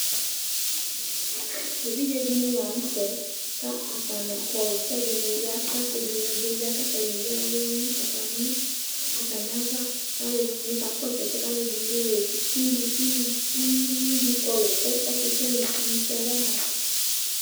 evidze dɩnɩ la nʊtɛ, ɛdɩnɩ kɔlʊ kʊ ɛdɩnɩ yɛvʊ, ɔsɩ dɩnɩ bɩ ya kʊ atanɩ eyǝ uwɔ dʊ nʊ atamiava, kʊ aluɛdɩnɩ bɩ kakɔsu ɛsɛ, kʊ aluɛdɩnɩ bɩ zati kʊ uvi dɩ kɔlʊ etini sɛ wama